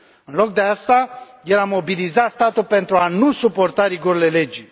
În loc de aceasta, el a mobilizat statul pentru a nu suporta rigorile legii.